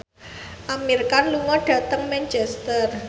Amir Khan lunga dhateng Manchester